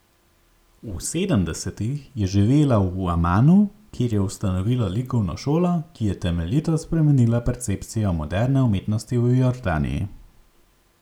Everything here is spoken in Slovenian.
V sedemdesetih je živela v Amanu, kjer je ustanovila likovno šolo, ki je temeljito spremenila percepcijo moderne umetnosti v Jordaniji.